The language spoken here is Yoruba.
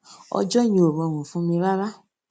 ọjó yẹn ò rọrùn fún mi rárá